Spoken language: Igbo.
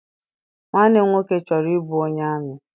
Nwanne m nwoke chọrọ I bụ onye amị.